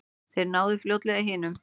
Þeir náðu fljótlega hinum.